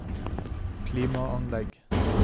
klimaanlegg